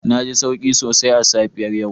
Na ji sauki sosai a safiyar yau